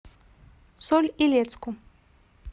соль илецку